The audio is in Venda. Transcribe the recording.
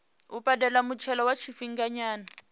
u badela muthelo wa tshifhinganyana